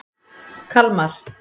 Kalmar